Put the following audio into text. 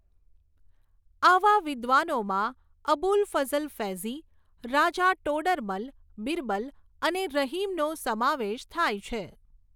આવા વિદ્વાનોમાં અબુલફઝલ ફૈઝી, રાજા ટોડરમલ, બિરબલ, અને રહિમનો સમાવેશ થાય છે.